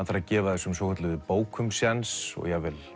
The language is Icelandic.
þarf að gefa þessum svokölluðu bókum sjéns jafnvel